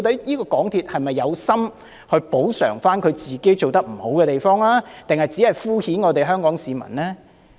究竟港鐵公司是有心補償做得不好的地方，抑或只是敷衍香港市民呢？